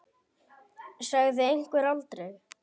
Sagði einhver aldrei?